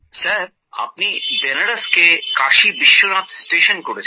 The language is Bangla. সাহেব আপনি বেনারসকে কাশি বিশ্বনাথ স্টেশন করেছেন